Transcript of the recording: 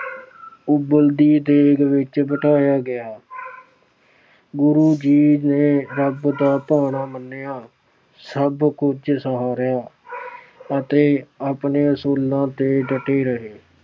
ਉਬਲਦੀ ਦੇਗ ਵਿੱਚ ਬਿਠਾਇਆ ਗਿਆ। ਗੁਰੂ ਜੀ ਨੇ ਰੱਬ ਦਾ ਭਾਣਾ ਮੰਨਿਆ। ਸਭ ਕੁਝ ਸਹਾਰਿਆ ਅਤੇ ਆਪਣੇ ਅਸੂਲਾਂ ਤੇ ਡਟੇ ਰਹੇ।